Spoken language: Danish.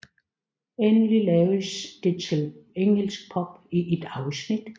Endelig laves det til en engelsk pub i et afsnit